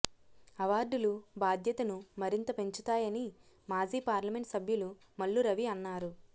అవార్డులు బాధ్యతను మరింత పెంచుతాయని మాజీ పార్లమెంటు సభ్యులు మల్లు రవి అన్నారు